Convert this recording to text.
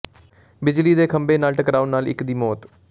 ਬਿਜਲੀ ਦੇ ਖੰਭੇ ਨਾਲ ਟਕਰਾਉਣ ਨਾਲ ਇਕ ਦੀ ਮੌਤ